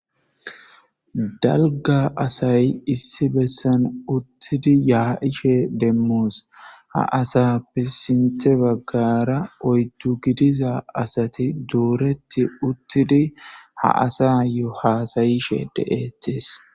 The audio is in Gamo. Dalga asay issi bessan uttidi yaa'ishe demmoos ha asappe sinte baggara oyddu gidiza asati duoretti uttidi ha asa yo haasayishe deettis.